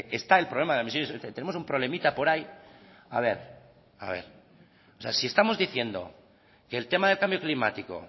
sea está el problema de las emisiones tenemos un problemita por ahí si estamos diciendo que el tema del cambio climático